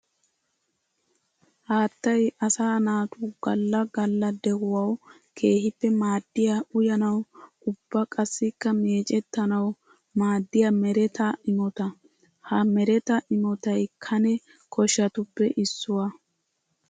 Haattay asaa naatu galla galla de'uwawu keehippe maadiya uyannawu ubba qassikka meecetannawu maadiya meretta imotta. Ha meretta imottay kane koshatuppe issuwa.